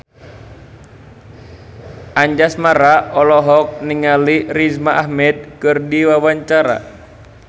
Anjasmara olohok ningali Riz Ahmed keur diwawancara